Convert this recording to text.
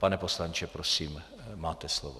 Pane poslanče, prosím, máte slovo.